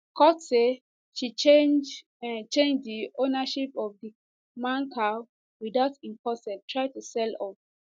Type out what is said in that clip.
court say she change change di ownership of di man car witout im consent try to sell off